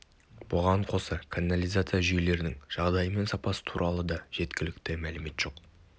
бұған қоса канализация жүйелерінің жағдайы мен сапасы туралы де жеткілікті мәлімет жоқ